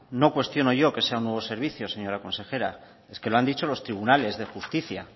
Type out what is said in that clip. no cuestiono yo que sea un nuevo servicio señora consejera es que lo han dicho los tribunales de justicia